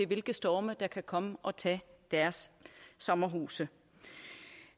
hvilke storme der kan komme og tage deres sommerhuse